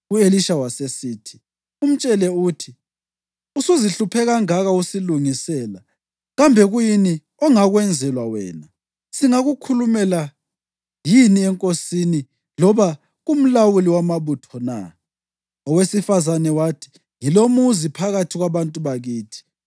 U-Elisha wasesithi, “Umtshele uthi, ‘Usuzihluphe kangaka usilungisela. Kambe kuyini ongakwenzelwa wena? Singakukhulumela yini enkosini loba kumlawuli wamabutho na?’ ” Owesifazane wathi, “Ngilomuzi phakathi kwabantu bakithi.”